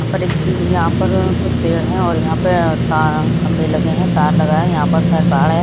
यहां पर एक चीन यहां पर कुछ पेड़ है और यहां पर ता खंबे लगे हैं तार लगा है यहां पर शायद बाड़ है।